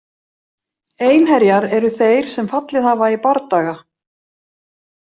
Einherjar eru þeir sem fallið hafa í bardaga.